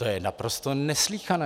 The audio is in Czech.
To je naprosto neslýchané.